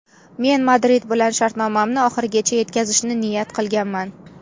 Men Madrid bilan shartnomamni oxirigacha yetkazishni niyat qilganman.